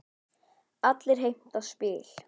Allir heimta spil.